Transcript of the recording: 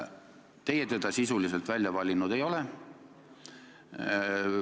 Teie teda sisuliselt välja valinud ei ole.